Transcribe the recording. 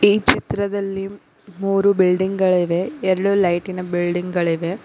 ಈ ಚಿತ್ರದಲ್ಲಿ ಮೂರು ಬಿಲ್ಡಿಂಗ್ ಗಳಿವೆ ಎರಡು ಲೈಟ್ ಇನ ಬಿಲ್ಡಿಂಗ್ ಗಳಿವೆ.